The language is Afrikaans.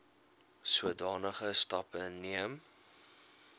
sodanige stappe neem